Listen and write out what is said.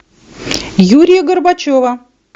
юрия горбачева